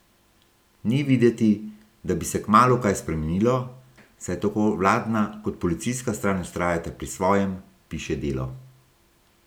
Ni videti, da bi se kmalu kaj spremenilo, saj tako vladna kot policijska stran vztrajata pri svojem, piše Delo.